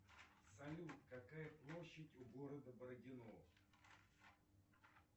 салют какая площадь у города бородино